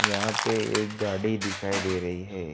यहां पे एक गाड़ी दिखाई दे रही हैं।